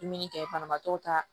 Dumuni kɛ banabaatɔw ta